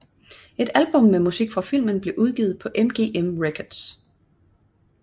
Et album med musik fra filmen blev udgivet på MGM Records